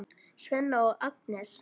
Svenna og Agnesi.